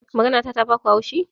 Maganata ta baku haushi?